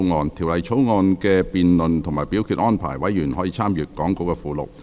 就《條例草案》的辯論及表決安排，委員可參閱講稿附錄。